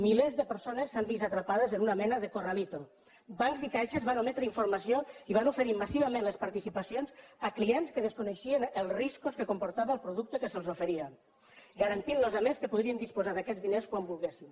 milers de persones s’han vist atrapades en una mena de i van oferir massivament les participacions a clients que desconeixien els riscos que comportava el producte que se’ls oferia garantint los a més que podrien disposar d’aquests diners quan volguessin